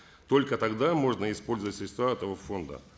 только тогда можно использовать средства этого фонда